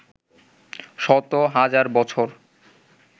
শত-হাজার বছর